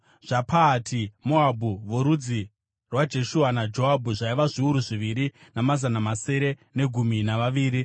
zvaPahati-Moabhu (vorudzi rwaJeshua naJoabhu) zvaiva zviuru zviviri namazana masere negumi navaviri;